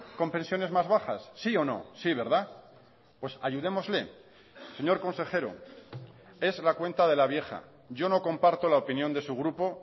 con pensiones más bajas sí o no sí verdad pues ayudémosle señor consejero es la cuenta de la vieja yo no comparto la opinión de su grupo